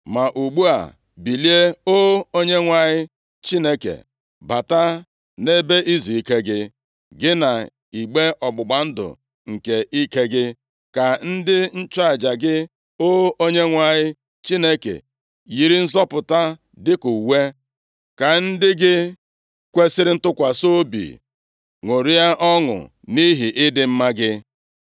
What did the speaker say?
“Ma ugbu a, bilie, O Onyenwe anyị Chineke, bata nʼebe izuike gị, gị na igbe ọgbụgba ndụ nke ike gị. Ka ndị nchụaja gị, O Onyenwe anyị Chineke, yiri nzọpụta dịka uwe. Ka ndị gị kwesiri ntụkwasị obi ṅụrịa ọṅụ nʼihi ịdị mma gị.